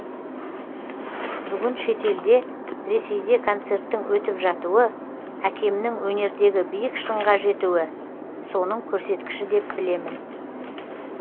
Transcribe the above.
бүгін шетелде ресейде концерттің өтіп жатуы әкемнің өнердегі биік шыңға жетуі соның көрсеткіші деп білемін